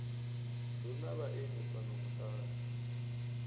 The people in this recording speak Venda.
hu na vhaeni fhano muṱani